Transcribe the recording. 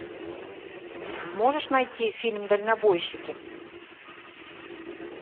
можешь найти фильм дальнобойщики